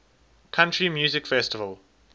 country music festival